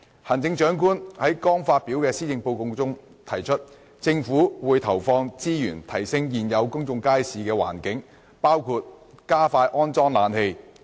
行政長官在剛發表的《施政報告》中提出，"政府會投放資源提升現有公眾街市的環境，包括加快安裝冷氣"。